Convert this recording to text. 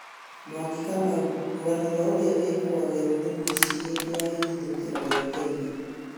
Mwangi Kamau: Rũgano rwa ũrĩa wĩkũagĩrwo nĩ mũĩcĩ hĩndĩ ya ĩhĩthũkĩra rĩa Kenya